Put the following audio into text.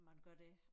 Man gør det